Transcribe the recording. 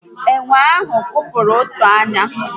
Ènwè ahụ kụkpọrọ otu ányá